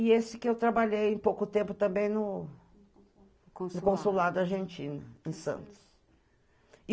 E esse que eu trabalhei em pouco tempo também no Consulado Argentina, em Santos.